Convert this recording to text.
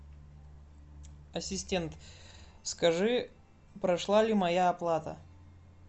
ассистент скажи прошла ли моя оплата